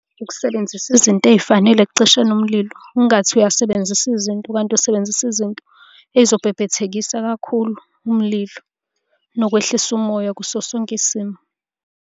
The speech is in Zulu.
Ukusebenzisa izinto ey'fanele ekucisheni umlilo, ungathi uyasebenzisa izinto kanti usebenzisa izinto ey'zobhebhethekisa kakhulu umlilo, nokwehlisa umoya kuso sonke isimo.